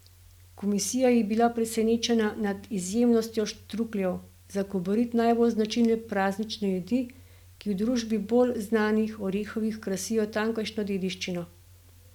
Komisija je bila presenečena nad izjemnostjo štrukljev, za Kobarid najbolj značilne praznične jedi, ki v družbi bolj znanih, orehovih, krasijo tamkajšnjo dediščino.